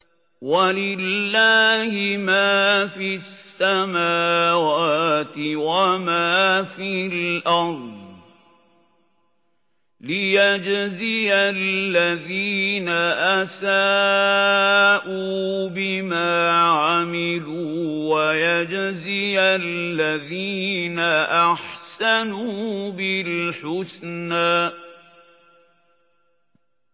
وَلِلَّهِ مَا فِي السَّمَاوَاتِ وَمَا فِي الْأَرْضِ لِيَجْزِيَ الَّذِينَ أَسَاءُوا بِمَا عَمِلُوا وَيَجْزِيَ الَّذِينَ أَحْسَنُوا بِالْحُسْنَى